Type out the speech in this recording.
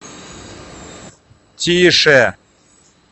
тише